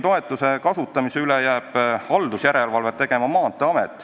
Toetuse kasutamise üle jääks haldusjärelevalvet tegema Maanteeamet.